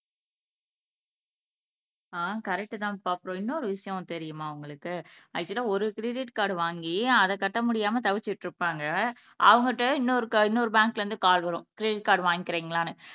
ஆஹ் correct தான்பா அப்புறம் இன்னொரு விஷயம் தெரியுமா உங்களுக்கு ஆக்சுவலா ஒரு கிரெடிட் கார்டு வாங்கி அதைக் கட்ட முடியாம தவிச்சிட்டு இருப்பாங்க அவங்க கிட்ட இன்னொரு க இன்னொரு பேங்க்ல இருந்து கால் வரும் கிரெடிட் கார்டு வாங்கிக்கிறீங்களான்னு